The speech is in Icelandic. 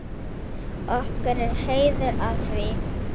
Okkur er heiður af því.